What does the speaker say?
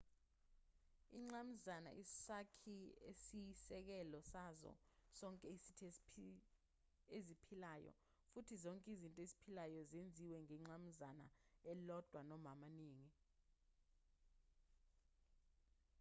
ingqamuzana isakhi esiyisekelo sazo zonke izinto eziphilayo futhi zonke izinto eziphilayo zenziwe ngengqamuzana elilodwa noma amaningi